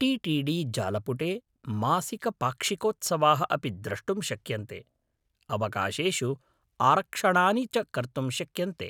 T T D जालपुटे मासिकपाक्षिकोत्सवाः अपि द्रष्टुं शक्यन्ते, अवकाशेषु आरक्षणानि च कर्तुं शक्यन्ते।